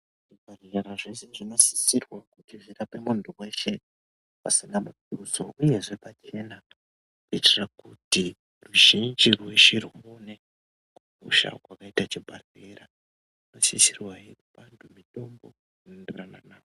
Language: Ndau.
Zvibhehlera zvese zvinosisriwa kuti zvirape muntu weshe pasina mutuso uyezve pachena kuitira kuti ruzhinji rweshe rwuone kukosha kwakaita chibhahlera. Zvinosisirwahe kupa antu mitombo inorenderana navo.